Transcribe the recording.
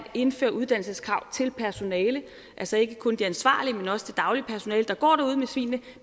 indføre uddannelseskrav til personale altså ikke kun det ansvarlige personale men også det daglige personale der går derude med svinene